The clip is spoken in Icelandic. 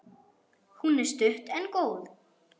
Hún er stutt en góð.